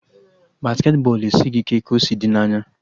Basketị bọọlụ esighị ike ka o si dị n'anya